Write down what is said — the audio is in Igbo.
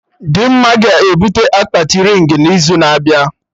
Dimma ga-ebute akpati rịng n'izu na-abịa